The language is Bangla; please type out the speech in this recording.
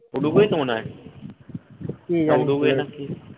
উরুগুয়েই তো মনে হয়